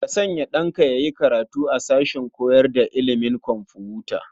Ka sanya ɗanka ya yi karatu a sashen koyar da ilimin kwamfuta.